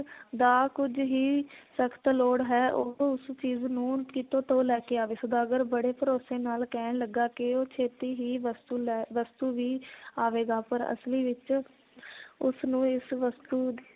ਦਾ ਕੁਝ ਹੀ ਸਖਤ ਲੋੜ ਹੈ ਉਹ ਉਸ ਚੀਜ਼ ਨੂੰ ਕਿਤੋਂ ਤੋਂ ਲੈ ਕੇ ਆਵੇ ਸੌਦਾਗਰ ਬੜੇ ਭਰੋਸੇ ਨਾਲ ਕਹਿਣ ਲੱਗਾ ਕਿ ਉਹ ਛੇਤੀ ਹੀ ਵਸਤੂ ਲੈ ਵਸਤੂ ਵੀ ਆਵੇਗਾ ਪਰ ਅਸਲੀ ਵਿਚ ਉਸ ਨੂੰ ਇਸ ਵਸਤੂ